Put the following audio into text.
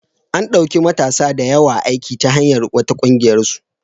An ɗauki matasa da yawa aiki ta hanyar wata ƙungiyarsu.